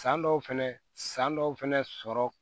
San dɔw fɛnɛ san dɔw fɛnɛ sɔrɔ